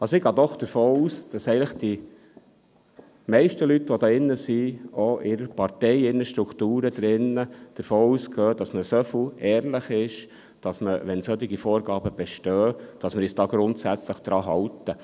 Ich gehe doch davon aus, dass eigentlich die meisten Leute, die sich hier drin befinden, in ihrer Partei oder ihren Strukturen so ehrlich sind, wenn solche Vorgaben bestehen, sich grundsätzlich daran zu halten.